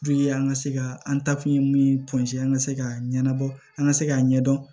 an ka se ka an ta kun ye min an ka se ka ɲɛnabɔ an ka se k'a ɲɛdɔn